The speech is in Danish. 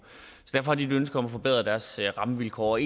så har de et ønske om at forbedre deres rammevilkår og